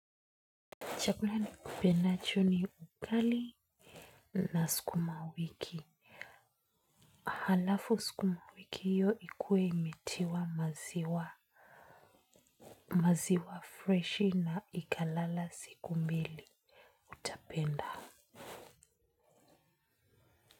Chakula nikipendacho ni ugali na sukuma wiki. Halafu sukuma wiki hiyo ikuwe imetiwa maziwa, maziwa freshi na ikalala siku mbili utapenda.